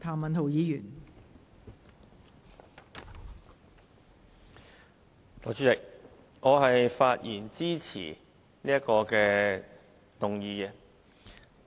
代理主席，我發言支持這項議案。